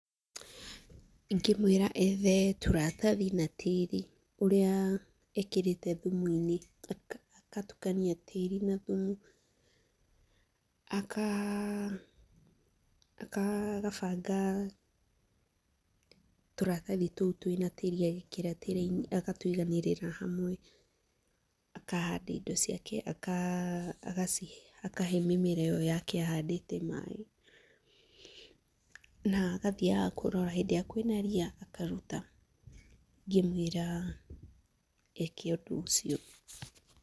Ingĩmwĩra ethe tũratathi na tĩĩri ũrĩa ekĩrĩte thumuinĩ, agatukania tĩĩri na thumu, agabanga tũratathi tũu twĩna tĩĩri agekĩra tureeinĩ agatũiganĩrĩra hamwe, akahanda indo ciake, akahe mĩmera ĩyo yake ahandĩte maaĩ na agathiaga kũrora hĩndĩ ĩrĩa kwĩna ria akaruta. Ingĩmwĩra eke ũndũ ũcio.